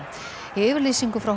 í yfirlýsingu frá